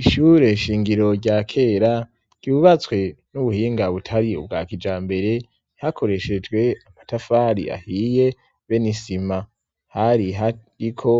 ishure shingiro rya kera ryubatswe n'ubuhinga butari ubwa kijambere hakoreshejwe amatafari ahiye beni sima hari hariko